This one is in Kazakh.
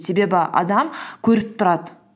себебі адам көріп тұрады